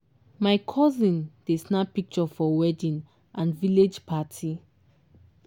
my cousin dey snap picture for wedding and village party.